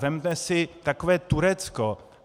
Vezměme si takové Turecko.